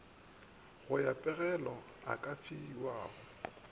ya pegelo e ka fiwago